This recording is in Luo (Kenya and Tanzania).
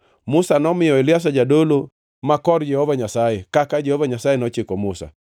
Musa nomiyo Eliazar jadolo ma kor Jehova Nyasaye, kaka Jehova Nyasaye nochiko Musa.